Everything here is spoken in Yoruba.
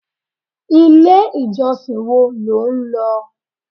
Ilé ìjọsìn wo lo ń lọ?